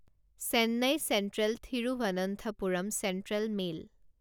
Chennai central Thiruvananthapuram central mail